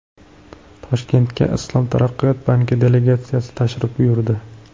Toshkentga Islom taraqqiyot banki delegatsiyasi tashrif buyurdi.